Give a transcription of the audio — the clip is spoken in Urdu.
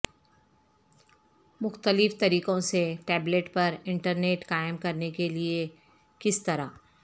مختلف طریقوں سے ٹیبلیٹ پر انٹرنیٹ قائم کرنے کے لئے کس طرح